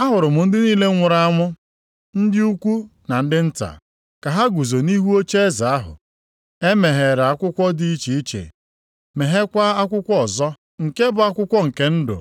Ahụrụ m ndị niile nwụrụ anwụ, ndị ukwu na ndị nta, ka ha guzo nʼihu ocheeze ahụ. E meghere akwụkwọ dị iche iche, meghekwa akwụkwọ ọzọ, nke bụ akwụkwọ nke ndụ.